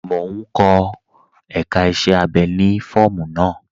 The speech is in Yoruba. Mò n kọ èká iṣẹ̀ abẹ́ ni fọọmu naa.